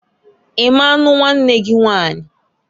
I ma nnu nwanne gị Nwanyiǃ